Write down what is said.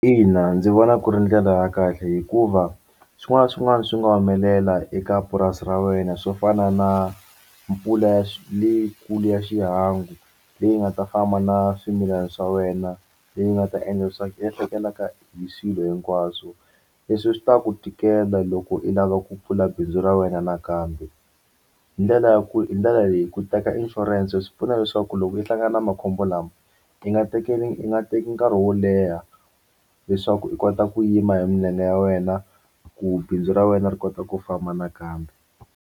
Ina, ndzi vona ku ri ndlela ya kahle hikuva swin'wana na swin'wana swi nga humelela eka purasi ra wena swo fana na mpfula leyikulu ya xihangu leyi nga ta famba na swimilana swa wena leyi nga ta endla leswaku hi swilo hinkwaswo leswi swi ta ku tikela loko i lava ku pfula bindzu ra wena nakambe hi ndlela ya ku hi ndlela leyi ku teka inshurense swi pfuna leswaku loko u hlangana na makhombo lama i nga tekeli u nga teki nkarhi wo leha leswaku i kota ku yima hi milenge ya wena ku bindzu ra wena ri kota ku famba nakambe.